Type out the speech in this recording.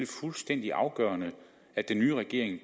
fuldstændig afgørende at den nye regering